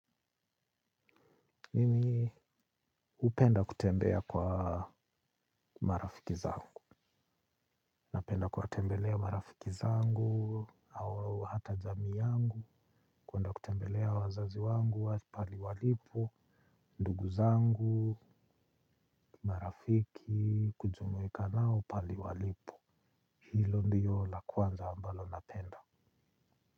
Mimi hupenda kutembea kwa marafiki zangu. Napenda kuwatembelea marafiki zangu au hata jamii yangu. Kuenda kutembelea wazazi wangu, pahali walipo, ndugu zangu, marafiki, kujumuika nao, pahali walipo. Hilo ndilo la kwanza ambalo napenda.